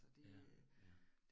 Ja, ja